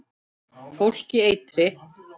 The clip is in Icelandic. Fólk í eitri